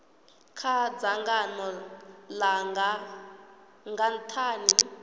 kha dzangano langa nga nthani